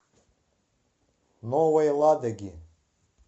новой ладоги